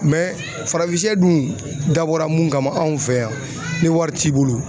Mɛ farafin sɛ dun dabɔra mun kama anw fɛ yan ni wari t'i bolo